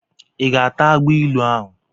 I ga-ata agbailu ahụ?